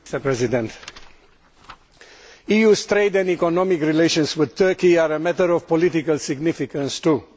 Mr President, EU trade and economic relations with Turkey are a matter of political significance, too.